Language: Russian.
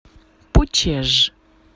пучеж